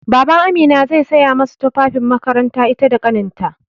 BabanAmina zai saya masu tufafin makaranta ita da ƙaninta.